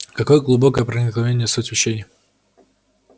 какое глубокое проникновение в суть вещей